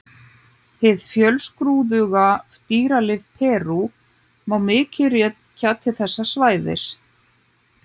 Hið fjölskrúðuga dýralíf Perú má mikið til rekja til þessa svæðis.